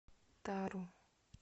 тару